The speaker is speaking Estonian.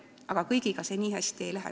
Aga kõigil nii hästi ei lähe.